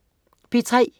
P3: